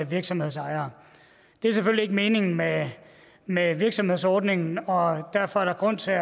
virksomhedsejere det er selvfølgelig ikke meningen med med virksomhedsordningen og derfor er der grund til at